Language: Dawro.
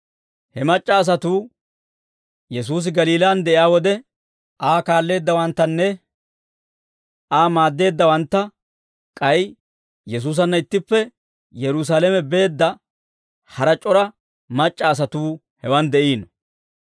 He mac'c'a asatuu Yesuusi Galiilaan de'iyaa wode, Aa kaalleeddawanttanne Aa maaddeeddawantta; k'ay Yesuusanna ittippe Yerusaalame beedda hara c'ora mac'c'a asatuu hewaan de'iino.